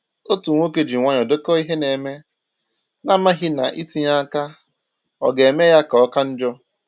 Otu nwoke ji nwayọọ dèkò ihe na-eme, na amaghị ná itinye aka ọga eme ya ka ọka njọ.